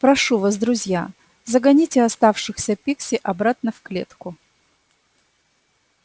прошу вас друзья загоните оставшихся пикси обратно в клетку